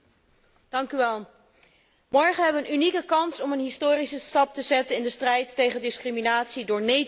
Morgen hebben we een unieke kans om een historische stap te zetten in de strijd tegen discriminatie door nee te zeggen tegen discriminatie.